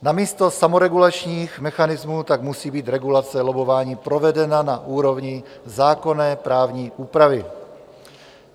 Namísto samoregulačních mechanismů tak musí být regulace lobbování provedena na úrovni zákonné právní úpravy.